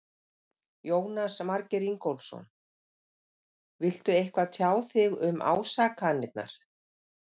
Jónas Margeir Ingólfsson: Viltu eitthvað tjá þig um ásakanirnar?